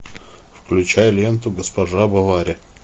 включай ленту госпожа бовари